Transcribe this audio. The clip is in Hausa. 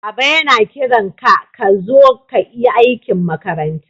Baba yana kiran ka ka zo ka yi aikin makaranta.